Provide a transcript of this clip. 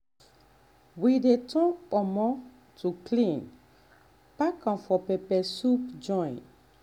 we dey turn kpomo (cow skin) to clean pack am for pepper soup joint